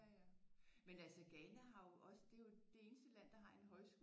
Ja ja men altså Ghana har jo også det er jo det er det eneste land der har en højskole